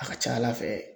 A ka ca ala fɛ